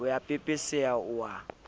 o a pepeseha o a